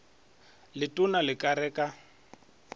letona le ka re ka